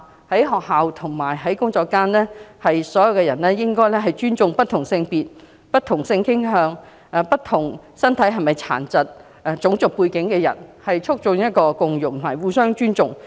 在學校和工作場所中，人人都應該尊重不同性別、不同性傾向和不同種族的人士，亦不應因為身體傷健作出歧視，合力營造互相尊重的共融環境。